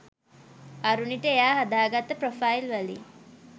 අරුණිට එයා හදාගත්ත ප්‍රෝෆයිල් වලින්